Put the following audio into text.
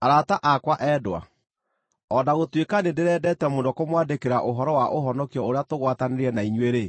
Arata akwa endwa, o na gũtuĩka nĩndĩrendete mũno kũmwandĩkĩra ũhoro wa ũhonokio ũrĩa tũgwatanĩire na inyuĩ-rĩ,